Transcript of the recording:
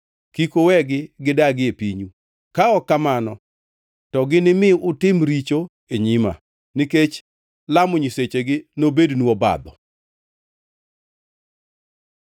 Kik uwegi gidagi e pinyu, ka ok kamano to ginimi utim richo e nyima, nikech lamo nyisechegi nobednu obadho.”